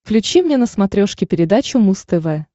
включи мне на смотрешке передачу муз тв